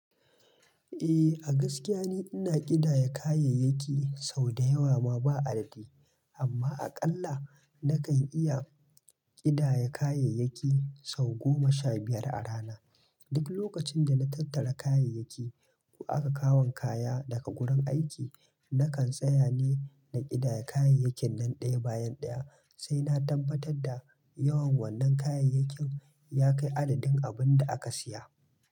Eh, a gaskiya ni ina ƙidaya kayayyaki sau da yawa ma ba adadi, amma aƙalla nakan iya ƙidaya kayayyaki sau goma sha biyar a rana. Duk lokacin da na tattara kayayyaki ko aka kawon kaya daga gurin aiki, nakan tsaya ne na ƙidaya kayayyakin nan ɗaya bayan ɗaya sai na tabbatar da yawan wannan kayayyakin ya kai adadin abin da aka siya.